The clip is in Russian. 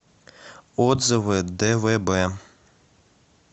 отзывы двб